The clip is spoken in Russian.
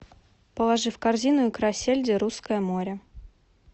положи в корзину икра сельди русское море